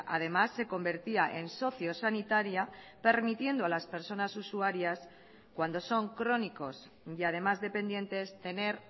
además se convertía en socio sanitaria permitiendo a las personas usuarias cuando son crónicos y además dependientes tener